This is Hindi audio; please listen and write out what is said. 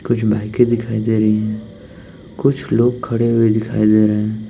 कुछ बाइकें दिखाई दे रही हैं कुछ लोग खड़े हुए दिखाई दे रहे हैं।